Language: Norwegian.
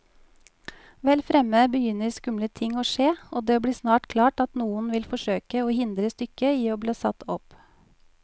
Vel fremme begynner skumle ting å skje, og det blir snart klart at noen vil forsøke å hindre stykket i bli satt opp.